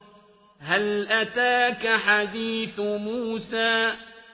هَلْ أَتَاكَ حَدِيثُ مُوسَىٰ